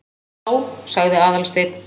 Já- sagði Aðalsteinn.